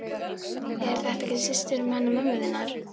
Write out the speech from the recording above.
Er þetta ekki systir hennar mömmu þinnar?